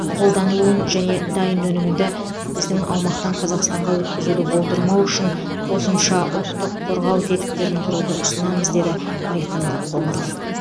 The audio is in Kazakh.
қолданылуын және дайын өнімді біздің аумақтан қазақстанға өткізуді болдырмау үшін қосымша ұлттық қорғау тетіктерін құруды ұсынамыз деді айқын қоңыров